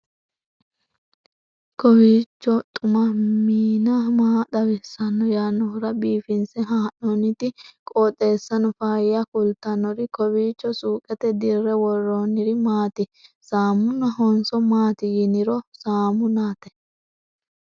kowiicho xuma mtini maa xawissanno yaannohura biifinse haa'noonniti qooxeessano faayya kultannori kowiicho suuqete dirre worronniri maati saamunahonso maaati yiniro saamunnate